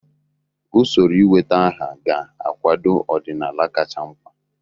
Usoro ịweta aha ga-akwado ọdịnala kacha mkpa.